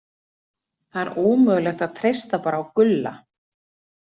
Það er ómögulegt að treysta bara á Gulla.